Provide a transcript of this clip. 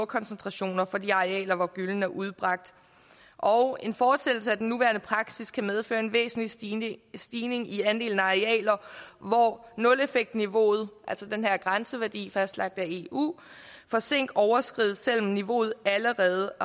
koncentrationen på de arealer hvor gyllen er udbragt og at en fortsættelse af den nuværende praksis kan medføre en væsentlig stigning stigning i andelen af arealer hvor nuleffektniveauet altså den her grænseværdi fastlagt af eu for zink overskrides selv om niveauet allerede